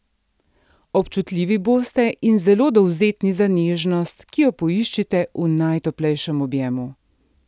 Občutljivi boste in zelo dovzetni za nežnost, ki jo poiščite v najtoplejšem objemu.